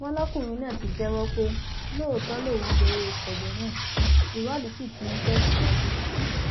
wọn lọkùnrin náà ti jẹwọ pé lóòótọ lòun gba owó kọbẹ náà ìwádìí sì ti ń tẹ síwájú